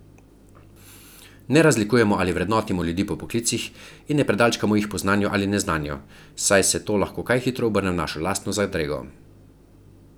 Ne razlikujemo ali vrednotimo ljudi po poklicih in ne predalčkamo jih po znanju ali neznanju, saj se to lahko kaj hitro obrne v našo lastno zadrego.